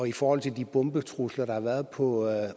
i forhold til de bombetrusler der har været på